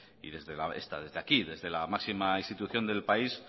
y desde aquí desde la máxima institución del país